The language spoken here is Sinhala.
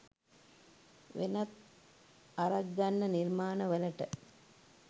වෙනත් ආරක් ගන්න නිර්මාණවලට